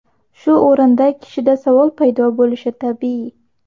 Shu o‘rinda kishida savol paydo bo‘lishi tabiiy.